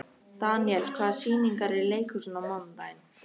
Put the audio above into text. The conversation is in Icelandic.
Daniel, hvaða sýningar eru í leikhúsinu á mánudaginn?